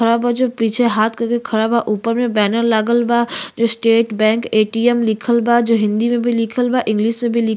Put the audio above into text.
खड़ा बा जो पीछे हाथ कर के खड़ा बा। ऊपर में बैनर लागल बा जो स्टेट बैंक एटीएम लिखल बा जो हिंदी में भी लिखल बा और इंग्लिश में भी लि --